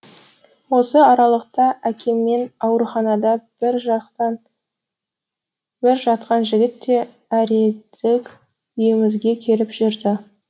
осы аралықта әкеммен ауруханада бір жақтан бір жатқан жігіт те әредік үйімізге келіп жүрді